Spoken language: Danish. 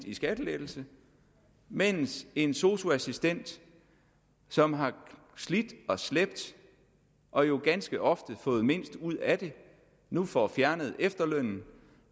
i skattelettelser mens en sosu assistent som har slidt og slæbt og jo ganske ofte fået mindst ud af det nu får fjernet efterlønnen